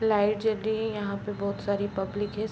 Light जल रही हैं। यहाँ पे बहोत सारी पब्लिक हैं।